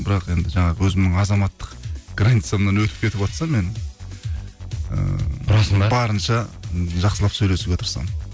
бірақ енді жаңағы өзімнің азаматтық границамнан өтіп кетіватса мен ыыы ұрасың ба барынша ы жақсылап сөйлесуге тырысамын